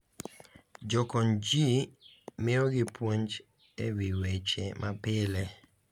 Jokonygi miyo gi puonj e wi weche mapile,